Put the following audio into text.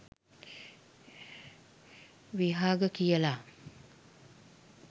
විහග කියලා